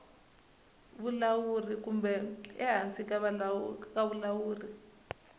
vulawuri kumbe ehansi ka vulawuri